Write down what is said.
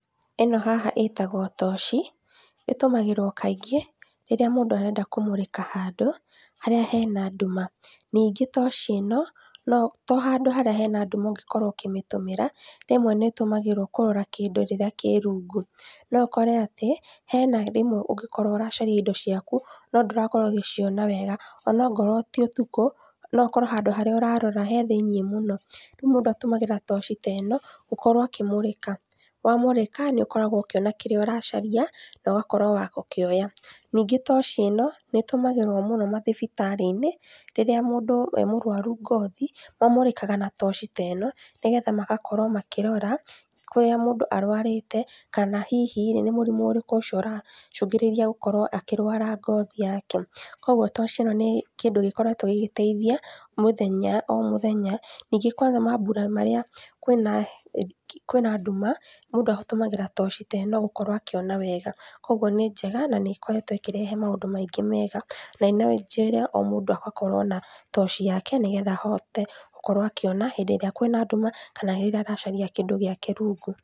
Ĩno haha ĩtagwo toci, ĩtũmagĩrwo kaingĩ rĩrĩa mũndũ arenda kũmũrĩka handũ, harĩa hena nduma. Ningĩ toci ĩno, no to handũ harĩa hena nduma ũngĩkorwo ũkĩmĩtũmĩra, rĩmwe nĩĩtũmagĩrwo kũrora kĩndũ rĩrĩa kĩ rungu. No ũkore atĩ hena rĩmwe ũngĩkorwo ũracaria indo ciaku, no ndũrakorwo ũgĩciona wega, ona angorwo ti ũtukũ, no ũkorwo handũ harĩa ũrarora he thĩiniĩ mũno. Rĩu mũndũ atũmagĩra toci ta ĩno, gũkorwo akĩmũrĩka. Wamũrĩka nĩũkoragwo ũkĩona kĩrĩa ũracaria, na ũgakorwo wa gũkĩoya. Ningĩ toci ĩno, nĩĩtũmagĩrwo mũno mathibitarĩ-inĩ, rĩrĩa mũndũ e mũrwaru ngothi, mamũrĩkaga na toci ta ĩno, nĩgetha magakorwo makĩrora kũrĩa mũndũ arwarĩte, kana hihi-rĩ, nĩ mũrimũ ũrĩkũ ũcio ũracũngĩrĩria gũkorwo akĩrwara ngothi yake? Koguo toci ĩno nĩ kĩndũ gĩkoretwo gĩgĩteithia mũthenya o mũthenya, ningĩ kwanja mambura marĩa kwĩna kwĩna nduma, mũndũ atũmagĩra toci ta ĩno gũkorwo akĩona wega. Koguo nĩ njega, na nĩĩkoretwo ĩkĩrehe maũndũ maingĩ mega, na no njĩre o mũndũ agakorwo na toci yake nĩgetha ahote gũkorwo akĩona, hĩndĩ ĩrĩa kwĩna nduma, kana rĩrĩa aracaria kĩndũ gĩake rungu.